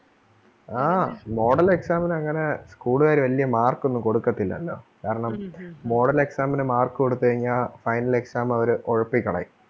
ആ model exam ന് അങ്ങനെ school കാര് വല്യ mark ഒന്നും കൊടുക്കത്തില്ലല്ലോ. കാരണം model exam ന് mark കൊടുത്ത് കഴിഞ്ഞാ final exam അവര് ഒഴപ്പിക്കളയും.